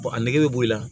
a nɛgɛ bɛ bɔ i la